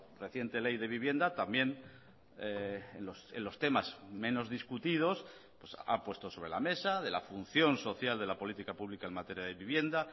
reciente ley de vivienda también en los temas menos discutidos ha puesto sobre la mesa de la función social de la política pública en materia de vivienda